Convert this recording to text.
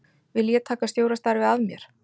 Vil ég taka stjórastarfið að mér?